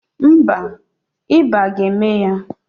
Mba, ịba ga-eme ya.